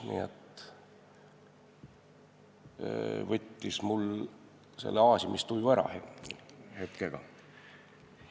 See võttis mul aasimistuju hetkega ära.